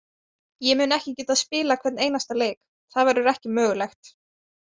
Ég mun ekki geta spilað hvern einasta leik, það verður ekki mögulegt.